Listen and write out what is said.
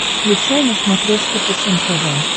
включай на смотрешке фэшен тв